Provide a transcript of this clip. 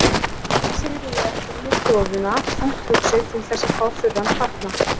Hann fylgdi Sigríði eftir inn í stofuna, þungt hugsi, til þess að fá þurran fatnað.